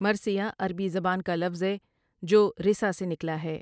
مرثیہ عربی زبان کا لفظ ہے جو رِثا سے نکلا ہے ۔